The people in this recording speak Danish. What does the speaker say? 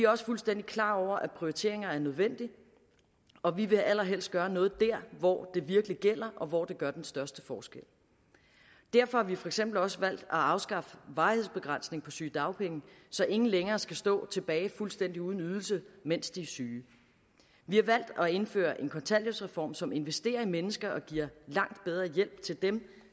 også fuldstændig klar over at prioriteringer er nødvendige og vi vil allerhelst gøre noget der hvor det virkelig batter og hvor det gør den største forskel derfor har vi for eksempel også valgt at afskaffe varighedsbegrænsningen på sygedagpenge så ingen længere skal stå tilbage fuldstændig uden ydelse mens de er syge vi har valgt at indføre en kontanthjælpsreform som investerer i mennesker og giver langt bedre hjælp til dem